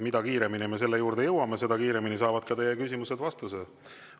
Mida kiiremini me selle juurde jõuame, seda kiiremini saavad ka teie küsimused vastuse.